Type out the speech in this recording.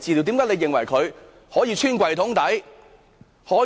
為何他們可以"穿櫃桶底"？